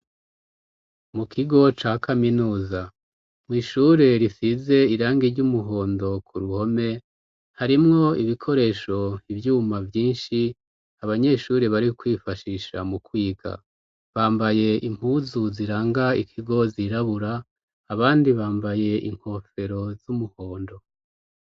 Mu kigo ca kaminuza. Kw'ishure risize irangi ry'umuhondo ku ruhome, harimwo ibikoresho, ivyuma vyinshi abanyeshure bari kwifashisha mu kwiga. Bambaye impuzu ziranga ikigo zirabura, abandi bambaye inkofero z'umuhondo.